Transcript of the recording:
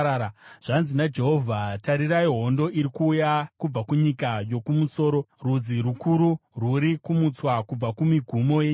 Zvanzi naJehovha: “Tarirai, hondo iri kuuya kubva kunyika yokumusoro; rudzi rukuru rwuri kumutswa kubva kumigumo yenyika.